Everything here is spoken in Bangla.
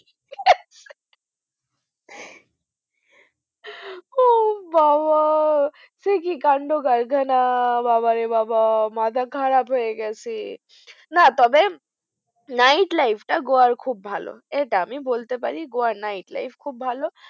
ও বাবা সে কি কান্ডকারখানা মাথা খারাপ হয়ে গেছে না তবে night life টা Goa র খুব ভালো এটা আমি বলতে পারি Goa র night life খুব ভালো